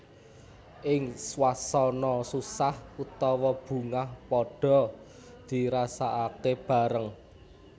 Ing swasana susah utawa bungah padhaa dirasakake bareng